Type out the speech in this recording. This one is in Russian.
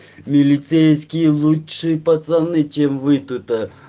милицейские лучшие пацаны чем вы тут